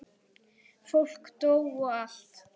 Fólk dó og allt.